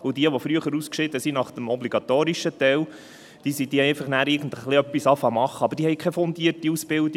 Jene, die früher ausschieden, nach dem obligatorischen Teil, begannen irgendetwas zu machen, aber sie hatten keine fundierte Ausbildung.